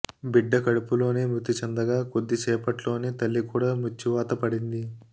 బిడ్డ కడుపులోనే మృతి చెందగా కొద్దిసేపట్లోనే తల్లి కూడా మృత్యువాత పడింది